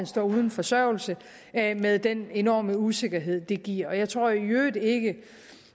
står uden forsørgelse med den enorme usikkerhed det giver jeg tror i øvrigt ikke at